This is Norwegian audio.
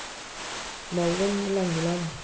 Malvin Langeland